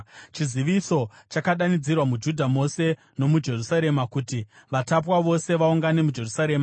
Chiziviso chakadanidzirwa muJudha mose nomuJerusarema kuti vatapwa vose vaungane muJerusarema.